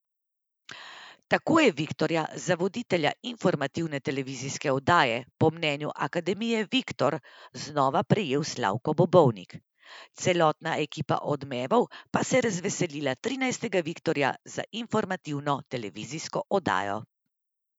Tako je viktorja za voditelja informativne televizijske oddaje po mnenju Akademije Viktor znova prejel Slavko Bobovnik, celotna ekipa Odmevov pa se je razveselila trinajstega viktorja za informativno televizijsko oddajo.